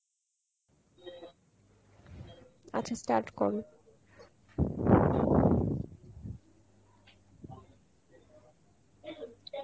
আচ্ছা start করো.